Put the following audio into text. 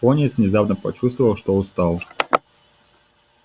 пониетс внезапно почувствовал что устал